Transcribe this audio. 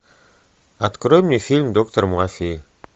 открой мне фильм доктор мафии